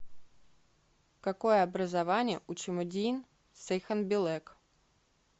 какое образование у чимэдийн сайханбилэг